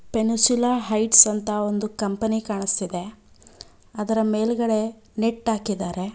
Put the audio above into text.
Peninsula height ಸ್ವಂತ ಒಂದು company ಕಾಣಿಸ್ತಿದೆ ಅದರ ಮೇಲ್ಗಡೆ ನೆಟ್ ಹಾಕಿದ್ದಾರೆ.